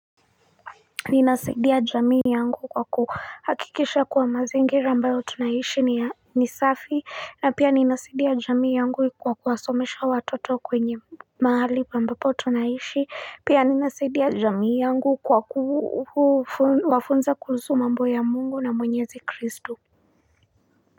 Ninasaidia jamii yangu kwa kuhakikisha kuwa mazingira ambayo tunaishi ni safi na pia ninasaidia jamii yangu kwa kuwasomesha watoto kwenye mahali ambapo tunaishi pia ninasaidia jamii yangu kwa kuwafunza kuhusu mambo ya mungu na mwenyezi kristo.